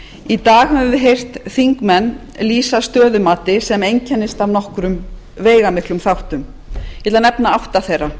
í dag höfum við heyrt þingmenn lýsa stöðumati sem einkennist af nokkrum veigamiklum þáttum ég ætla að nefna átta þeirra